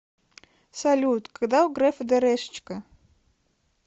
салют когда у грефа дэрэшечка